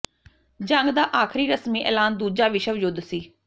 ਜੰਗ ਦਾ ਆਖਰੀ ਰਸਮੀ ਐਲਾਨ ਦੂਜਾ ਵਿਸ਼ਵ ਯੁੱਧ ਸੀ